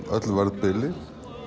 öllu verðbili